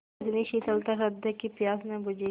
इतनी शीतलता हृदय की प्यास न बुझी